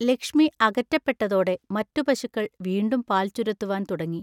ലക്ഷ്മി അകറ്റപ്പെട്ടതോടെ മറ്റു പശുക്കൾ വീണ്ടും പാൽ ചുരത്തുവാൻ തുടങ്ങി.